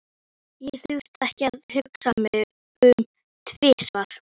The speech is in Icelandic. Ég þurfti ekki að hugsa mig um tvisvar.